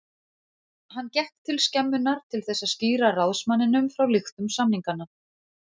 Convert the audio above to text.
Hann gekk til skemmunnar til þess að skýra ráðsmanninum frá lyktum samninganna.